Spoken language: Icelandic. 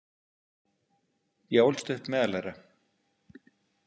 Ég ólst upp meðal þeirra.